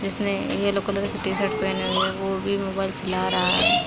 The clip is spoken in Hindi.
जिसने येलो कलर टी शर्ट पहनी हुई है वो भी मोबाईल चला रहा है।